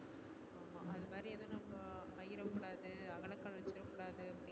அதுமாதிரி ஏதும் நம்ம அகல கால் வச்சிர கூடாது